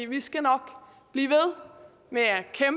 vi skal nok blive ved med